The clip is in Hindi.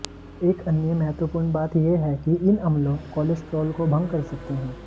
एक अन्य महत्वपूर्ण बात यह है कि इन अम्लों कोलेस्ट्रॉल को भंग कर सकते हैं